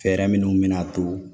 Fɛɛrɛ minnu bɛ na to